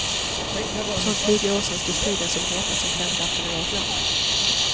För snart tjugo år sedan stod striden som hetast om kärnkraften i vårt land.